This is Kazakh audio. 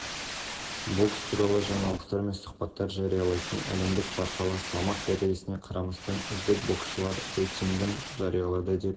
сахнаның техникалық мүмкіндіктері театрдың көркемдік-қоюшылық артықшылықтарын арттырып түрлі жанр мен стильдегі спектакльдердің қойылымын жүзеге асыруға мұрша береді астана балет театры қазақ